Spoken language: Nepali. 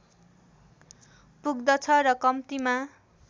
पुग्दछ र कम्तीमा